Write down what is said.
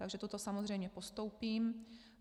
Takže toto samozřejmě postoupím.